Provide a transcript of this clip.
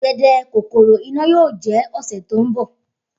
Idede kokoro Ina yoo jẹ ọsẹ to nbọ.